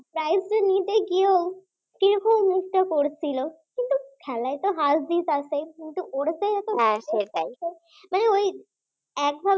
prize নিতে গিয়েও কি রকম মুখটা করেছিল কিন্তু খেলায় তো হারজিত আছেই কিন্তু ওরা চায় মানে ওই এক ধারা